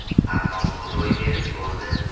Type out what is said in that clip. Ammo bu ro‘y berib bo‘ldi.